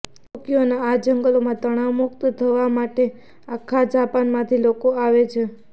ટોક્યોનાં આ જંગલોમાં તણાવમુક્ત થવા માટે લગભગ આખા જાપાનમાંથી લોકો આવે છે